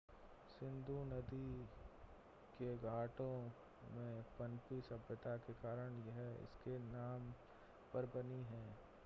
सिंधु नदी के घाटों में पनपी सभ्यता के कारण यह इसके नाम पर बनी है